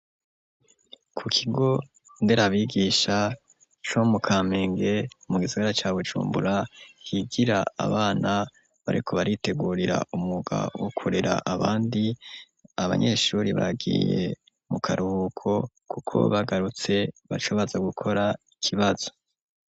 Ku kigo nderabigisha co mu Kamenge mu gisagara ca Bujumbura, higira abana bariko baritegurira umwuga wo kurera abandi, abanyeshuri bagiye mu karuhuko kuko bagarutse bazobaza gukora ikibazo.